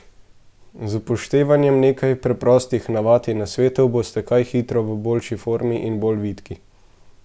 Z upoštevanjem nekaj preprostih navad in nasvetov boste kaj hitro v boljši formi in bolj vitki.